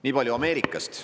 Nii palju Ameerikast.